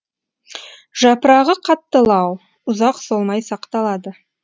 жапырағы қаттылау ұзақ солмай сақталады